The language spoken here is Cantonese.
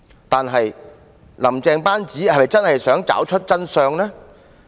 但是，"林鄭"班子是否真心想找出真相？